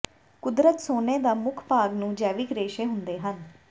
ਕੁਦਰਤ ਸੋਨੇ ਦਾ ਮੁੱਖ ਭਾਗ ਨੂੰ ਜੈਵਿਕ ਰੇਸ਼ੇ ਹੁੰਦੇ ਹਨ